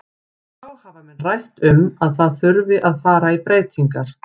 Þá hafa menn rætt um að það þurfi að fara í breytingar.